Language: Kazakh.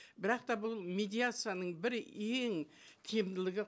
бірақ та бұл медиацияның бір ең кемділігі